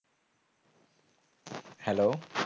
Hello